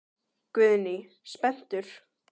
Guðný: Spenntur?